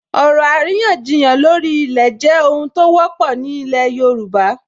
Ọ̀rọ̀ àríyànjiyàn lórí ilẹ̀ jẹ́ ohun tó wọ́pọ̀ ní ilẹ̀ yóòbá